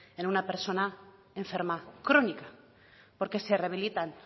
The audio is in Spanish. en una persona enferma crónica porque se rehabilitan